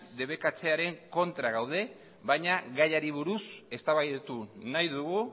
debekatzearen kontra gaude baina gaiari buruz eztabaidatu nahi dugu